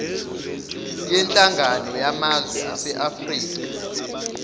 yenhlangano yamazwe aseafrika